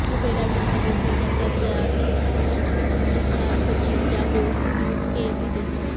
গ্রুপের একজন সদস্য জাকারিয়া মৃধা সজীব জাগো নিউজকে এ তথ্য